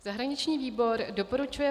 Zahraniční výbor doporučuje